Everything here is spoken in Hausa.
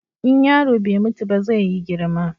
In yaro bai mutu ba zai yi girma.